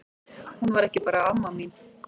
Hún var ekki bara amma mín.